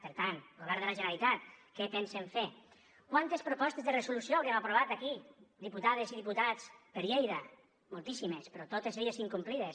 per tant govern de la generalitat què pensen fer quantes propostes de resolució haurem aprovat aquí diputades i diputats per lleida moltíssimes però totes elles incomplides